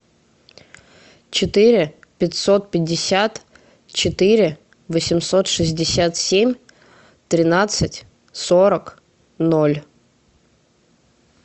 четыре пятьсот пятьдесят четыре восемьсот шестьдесят семь тринадцать сорок ноль